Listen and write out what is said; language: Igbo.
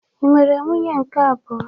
Ị nwere nwunye nke abụọ?